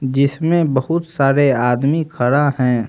जिसमें बहुत सारे आदमी खड़ा हैं।